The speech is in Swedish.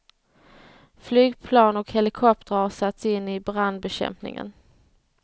Flygplan och helikoptrar har satts in i brandbekämpningen.